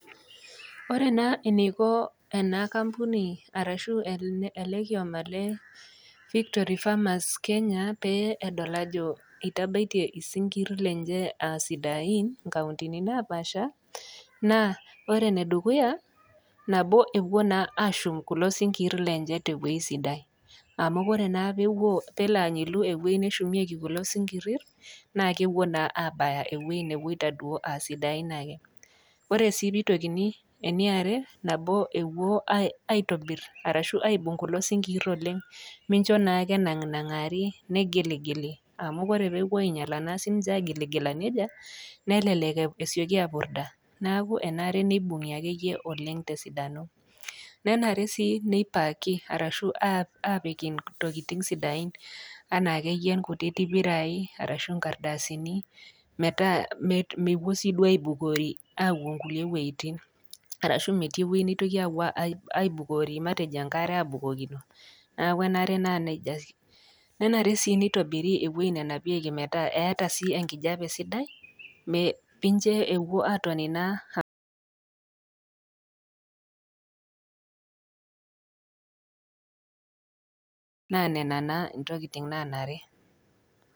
Ore naa eneiko ena kampuni arashu ele kioma le Victory Farmers Kenya pee edol ajo eitabaitie isinkir lenye a sidain inkauntini napaasha, naa ore enedukuya naa nabo naa ewuo ashum kulo sinkir lenye tewei sidai, amu ore naa pelo anyilu ewi neshumieki isinkirir, naa kewuo naa abaya ewei newoita duo a sidain ake. Ore sii peitokini, eniare, nabo aitobir arashu aibung' kulo sinkirir oleng mincho naa ake enang'aring'aari negiligili amu ore naa ewuo ainyala siininche agiligila neja nelelek esioki apurda. Neaku enare akeyie neibung'i oleng tesidano. Nenare sii neipaki arashu apik intokitin sidain anaa akeyie inkutiti pirai ashu inkartasini metaa mewuo siiduo aibukorri awuo kulie weitin. Arashu metii ewei neitoki awuo aibukori matejo engare abukokino neaku enare naa neija. Nenare sii neitobiri ewei nenapieki metaa eata sii enkijape sidai